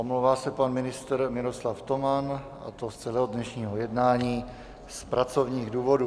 Omlouvá se pan ministr Miroslav Toman, a to z celého dnešního jednání z pracovních důvodů.